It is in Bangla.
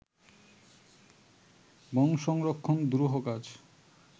বন সংরক্ষণ দুরূহ কাজ